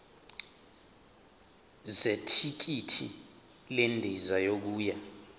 zethikithi lendiza yokuya